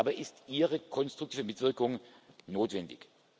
Dabei ist Ihre konstruktive Mitwirkung notwendig.